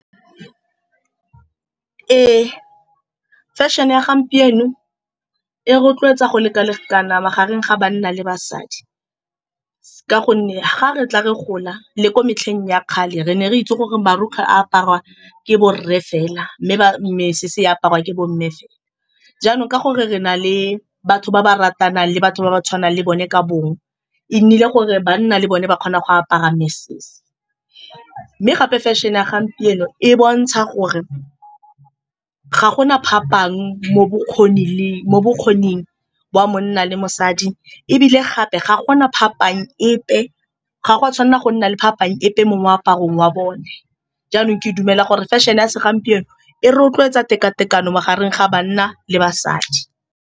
Ee, fashion-e ya gompieno e rotloetsa go leka-lekana magareng ga banna le basadi ka gonne fa re tla re gola le ko metlheng ya kgale, re ne re itse gore marugkwe a aparwa ke borre fela, mme ba mesese e aparwa ke bo mme fela. Jaanong ka gore re nale batho ba ba ratanang le batho ba ba tshwanang le bone ka bong, e nnile gore banna le bone ba kgona go apara mesese, mme gape fashion-e ya gompieno e bontsha gore ga gona phapang mo bokgoni le mo bokgoning jwa monna le mosadi, ebile gape ga gona phapang epe. Ga go a tshwanela go nna le phapang epe mo moaparong wa bone. Jaanong ke a dumela gore fashion-e ya segompieno e rotloetsa teka-tekano magareng ga banna le basadi.